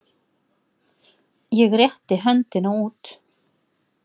Ég rétti höndina út.